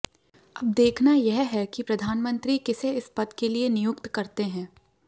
अब देखना यह है कि प्रधानमंत्री किसी इस पद के लिए नियुक्त करते हैं